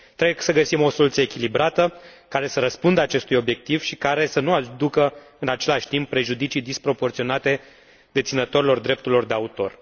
Trebuie să găsim o soluție echilibrată, care să răspundă acestui obiectiv și care să nu aducă, în același timp, prejudicii disproporționate deținătorilor drepturilor de autor.